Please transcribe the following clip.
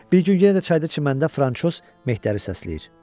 Bir gün yenə də çayda çiməndə Fransoz Mehdəri səsləyir: